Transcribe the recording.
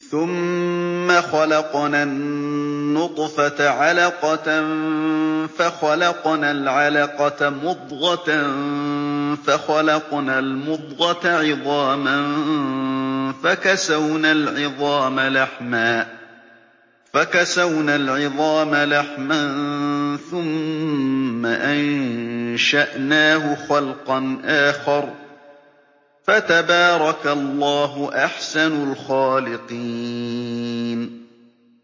ثُمَّ خَلَقْنَا النُّطْفَةَ عَلَقَةً فَخَلَقْنَا الْعَلَقَةَ مُضْغَةً فَخَلَقْنَا الْمُضْغَةَ عِظَامًا فَكَسَوْنَا الْعِظَامَ لَحْمًا ثُمَّ أَنشَأْنَاهُ خَلْقًا آخَرَ ۚ فَتَبَارَكَ اللَّهُ أَحْسَنُ الْخَالِقِينَ